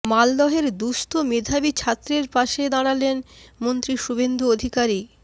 মালদহের দুঃস্থ মেধাবী ছাত্রের পাশে দাঁড়ালেন মন্ত্রী শুভেন্দু অধিকারী